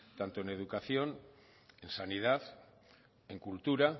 tanto en educación en sanidad en cultura